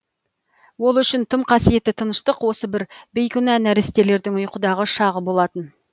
ол үшін тым қасиетті тыныштық осы бір бейкүнә нәрестелердің ұйқыдағы шағы болатын